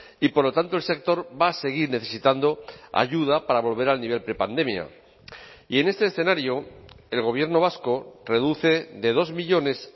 y por lo tanto el sector va a seguir necesitando ayuda para volver al nivel prepandemia y en este escenario el gobierno vasco reduce de dos millónes